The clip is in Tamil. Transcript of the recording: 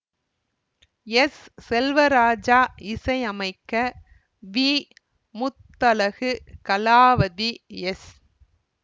எஸ் செல்வராஜா இசை அமைக்க வி முத்தழகு கலாவதி எஸ்